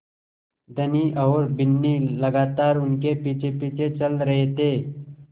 धनी और बिन्नी लगातार उनके पीछेपीछे चल रहे थे